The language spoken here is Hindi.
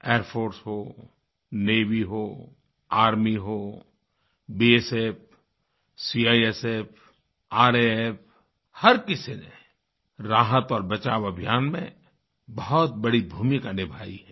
एयर फोर्स होNavy हो आर्मी हो बीएसएफ सीआईएसएफ रफ हर किसी ने राहत और बचाव अभियान में बहुत बड़ी भूमिका निभाई है